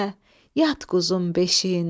yat quzun beşiyində.